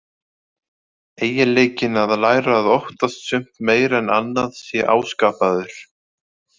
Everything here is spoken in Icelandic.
Eiginleikinn að læra að óttast sumt meira en annað sé áskapaður.